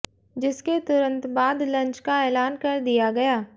जिसके तुरंत बाद लंच का ऐलान कर दिया गया